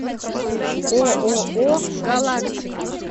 ооо галактика